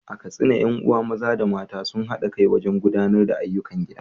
A Katsina, ƴan uwa maza da mata sun haɗa kai wajen gudanar da ayyukan gida.